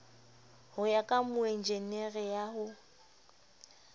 ho ya ka moenjenere ya